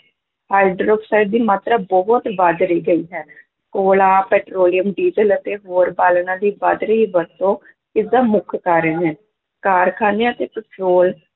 hydroxide ਦੀ ਮਾਤਰਾ ਬਹੁਤ ਵੱਧ ਰਹੀ ਗਈ ਹੈ, ਕੋਲਾ, ਪੈਟਰੋਲੀਅਮ, ਡੀਜ਼ਲ ਅਤੇ ਹੋਰ ਬਾਲਣਾਂ ਦੀ ਵੱਧ ਰਹੀ ਵਰਤੋਂ ਇਸਦਾ ਮੁੱਖ ਕਾਰਨ ਹੈ, ਕਾਰਖਾਨਿਆਂ ਤੇ ਪੈਟਰੋਲ